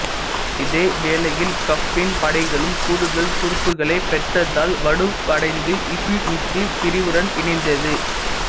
இதேவேளையில் கஃப்பின் படைகளும் கூடுதல் துருப்புக்களைப் பெற்றதால் வலுவடைந்து இசுமித்தின் பிரிவுடன் இணைந்தது